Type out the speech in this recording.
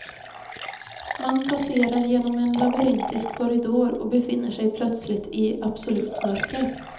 Man passerar genom en labyrintisk korridor och befinner sig plötsligt i absolut mörker.